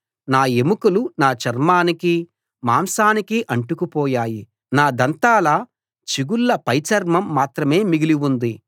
నా ఎముకలు నా చర్మానికీ మాంసానికీ అంటుకుపోయాయి నా దంతాల చిగుళ్ళ పైచర్మం మాత్రమే మిగిలి ఉంది